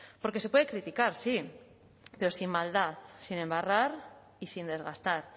porque se puede criticar sí pero sin maldad sin embarrar y sin desgastar